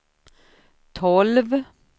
tolv